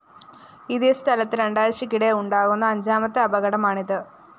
ഇതേ സ്ഥലത്ത് രണ്ടാഴ്ചക്കിടെ ഉണ്ടാകുന്ന അഞ്ചാമത്തെ അപകടമാണ് ഇത്